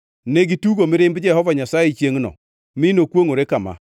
Negitugo mirimb Jehova Nyasaye chiengʼno mi nokwongʼore kama: